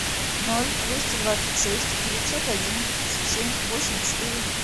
ноль двести двадцать шесть девятьсот один тридцать семь восемь четыре